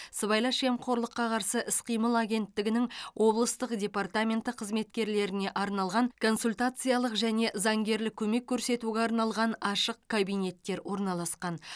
сыбайлас жемқорлыққа қарсы іс қимыл агенттігінің облыстық департаменті қызметкерлеріне арналған консультациялық және заңгерлік көмек көрсетуге арналған ашық кабинеттер орналасқан